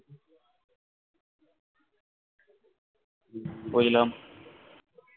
উম বুঝলাম